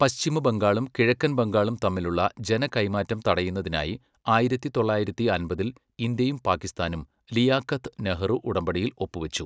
പശ്ചിമ ബംഗാളും കിഴക്കൻ ബംഗാളും തമ്മിലുള്ള ജനകൈമാറ്റം തടയുന്നതിനായി ആയിരത്തി തൊള്ളായിരത്തി അമ്പതിൽ ഇന്ത്യയും പാകിസ്ഥാനും ലിയാഖത്ത്, നെഹ്റു ഉടമ്പടിയിൽ ഒപ്പുവച്ചു.